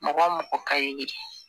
Mɔgɔ mɔgɔ ka ɲi